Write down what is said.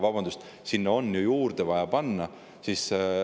Vabandust, sinna on ju juurdegi vaja panna.